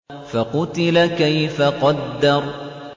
فَقُتِلَ كَيْفَ قَدَّرَ